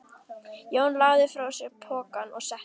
Jón lagði frá sér pokann og settist.